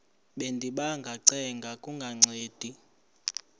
bendiba ngacenga kungancedi